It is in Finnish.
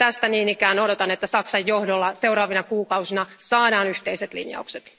Tästä niin ikään odotan, että Saksan johdolla seuraavina kuukausina saadaan yhteiset linjaukset.